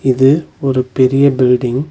இது ஒரு பெரிய பில்டிங் .